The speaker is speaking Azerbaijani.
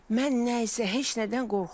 Mən nə isə heç nədən qorxmuram.